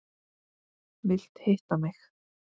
Vilt hitta mig.